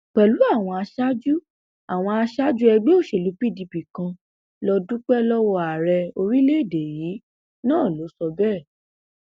pẹlú àwọn aṣáájú àwọn aṣáájú ẹgbẹ òṣèlú pdp kan lọọ dúpẹ lọwọ ààrẹ orílẹèdè yìí náà ló sọ bẹẹ